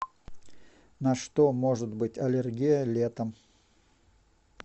на что может быть аллергия летом